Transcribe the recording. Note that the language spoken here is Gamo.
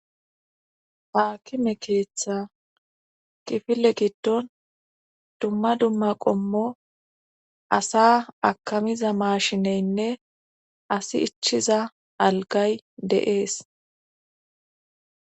Haakime keeththa qifile giddon dumma dumma qommo asa akamiza maashineynne asi ichiza algay deees